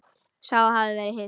Sá hafði verið viss!